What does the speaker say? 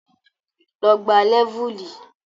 Lọ gbá Lẹ́vùlì!